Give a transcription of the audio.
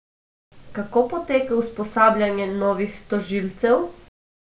Kako poteka usposabljanje novih tožilcev?